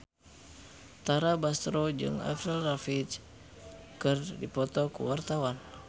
Tara Basro jeung Avril Lavigne keur dipoto ku wartawan